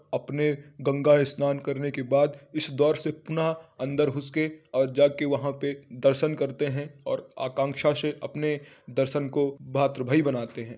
अपने गंगा स्नान करने के बाद इस द्वार से पुनः अंदर घुसके और जाके वह पे दर्शन करते हैं ओर आकांक्षा से अपने दर्शन को भातरुभय बनाते है।